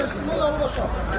Söndür alov.